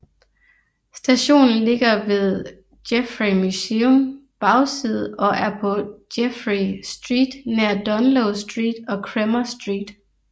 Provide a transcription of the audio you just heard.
Stationen ligger ved Geffrye Museums bagside og er på Geffrye Street nær Dunloe Street og Cremer Street